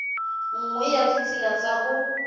nngwe ya ditsela tsa ho